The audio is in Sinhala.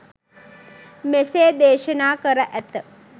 මෙසේ දේශනා කර ඇත.